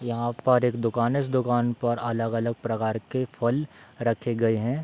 यहाँ पर एक दुकान है इस दुकान पर अलग-अलग प्रकार के फल रखे गये हैं।